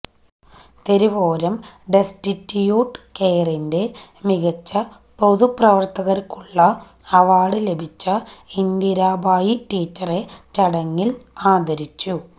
തെരുവോരം destitute കെയറിന്റെ മികച്ച പൊതു പ്രവര്ത്തകയ്ക്കുള്ള അവാര്ഡ് ലഭിച്ച ഇന്ദിരാഭായി ടീച്ചറെ ചടങ്ങില് ആദരിച്ചു